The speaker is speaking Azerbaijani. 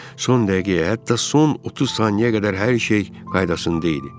Son dəqiqəyə, hətta son 30 saniyəyə qədər hər şey qaydasında idi.